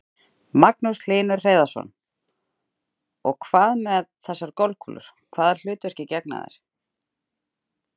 Magnús Hlynur Hreiðarsson: Og hvað með þessar golfkúlur, hvaða hlutverki gegna þær?